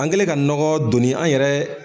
An kɛlen ka nɔgɔ donni an yɛrɛ.